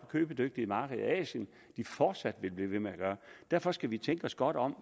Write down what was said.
købedygtige marked i asien fortsat vil blive ved med at gøre og derfor skal vi tænke os godt om